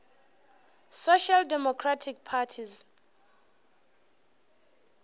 social democratic parties